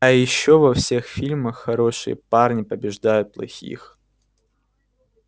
а ещё во всех фильмах хорошие парни побеждают плохих